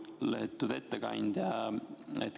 Lugupeetud ettekandja!